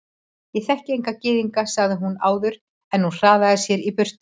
Ég þekki enga gyðinga sagði hún áður en hún hraðaði sér í burtu.